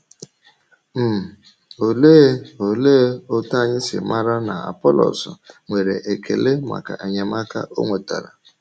um Ólee Ólee otú anyị si màrà na Apọlọs nwere ekele maka enyemaka ọ nwetara?